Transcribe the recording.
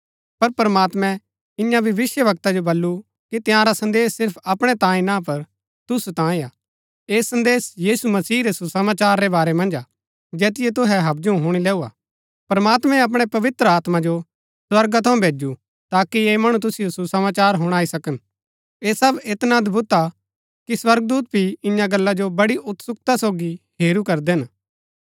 पर प्रमात्मैं इन्या भविष्‍यवक्ता जो बल्लू कि तंयारा संदेश सिर्फ अपणै तांये ना पर तुसु तांये हा ऐह संदेश यीशु मसीह रै सुसमाचार रै बारै मन्ज हा जैतिओ तुहै हवजु हुणी लैऊ हा प्रमात्मैं अपणै पवित्र आत्मा जो स्वर्गा थऊँ भैजु ताकि ऐह मणु तुसिओ सुसमाचार हुणाई सकन ऐह सब ऐतना अदभुत हा कि स्वर्गदूत भी इन्या गल्ला जो बड़ी उत्सुकता सोगी हेरू करदै हिन